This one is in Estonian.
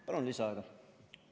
Palun lisaaega!